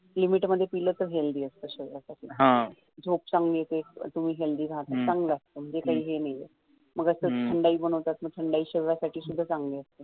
limit मध्ये पिलं तर healthy असतं शरिरा साठी झोप चांगली येते तुम्ही healthy राहतात हे चांगलं असतं म्हणजे काही हे नाही आहे मग असं तर थंडाई शरीरा साठी सुद्धा चांगली असते